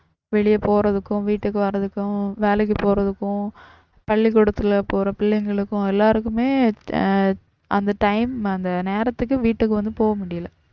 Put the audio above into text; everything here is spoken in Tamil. வெளிய போறதுக்கும் வீட்டுக்கும் வர்றதுக்கும் வேலைக்கும் போறதுக்கும் பள்ளிக்கூடத்துல போற பிள்ளைங்களுக்கும் எல்லாருக்குமே ஆஹ் அந்த time அந்த நேரத்துக்கு வீட்டுக்கு வந்து போக முடியல